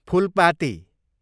Phulpati